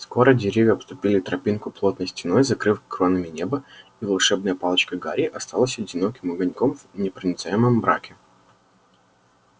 скоро деревья обступили тропинку плотной стеной закрыв кронами небо и волшебная палочка гарри осталась одиноким огоньком в непроницаемом мраке